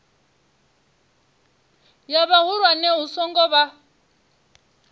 ya vhahulwane hu songo vha